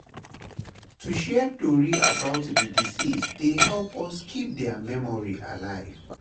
To share tori about the deceased dey help us keep their memory alive.